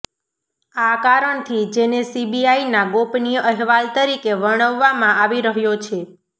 આ કારણથી જેને સીબીઆઈના ગોપનીય અહેવાલ તરીકે વર્ણવવામાં આવી રહ્યો છે